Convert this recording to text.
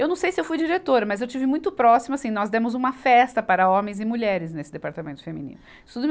Eu não sei se eu fui diretora, mas eu estive muito próxima, assim, nós demos uma festa para homens e mulheres nesse Departamento Feminino.